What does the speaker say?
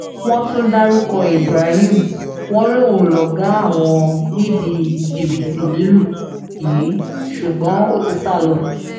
wọ́n tún dárúkọ ibrahim wọn lóun lọ̀gá àwọn nídìí jìbìtì lílù yìí ṣùgbọ́n ó ti sá lọ